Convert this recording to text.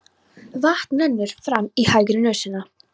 Vatn rennur fram í hægri nösina.